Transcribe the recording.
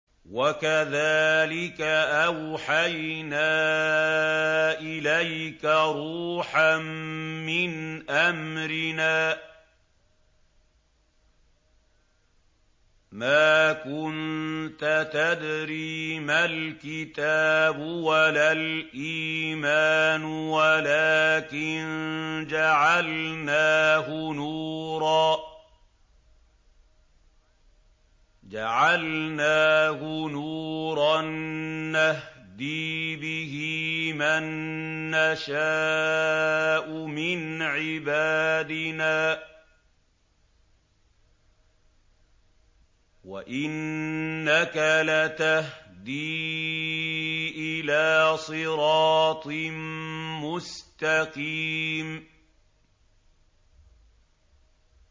وَكَذَٰلِكَ أَوْحَيْنَا إِلَيْكَ رُوحًا مِّنْ أَمْرِنَا ۚ مَا كُنتَ تَدْرِي مَا الْكِتَابُ وَلَا الْإِيمَانُ وَلَٰكِن جَعَلْنَاهُ نُورًا نَّهْدِي بِهِ مَن نَّشَاءُ مِنْ عِبَادِنَا ۚ وَإِنَّكَ لَتَهْدِي إِلَىٰ صِرَاطٍ مُّسْتَقِيمٍ